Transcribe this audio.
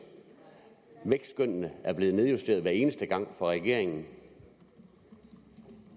vækstskønnene er blevet nedjusteret hver eneste gang af regeringen